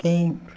Quem?